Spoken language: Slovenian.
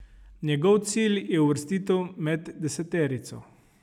Njegov cilj je uvrstitev med deseterico.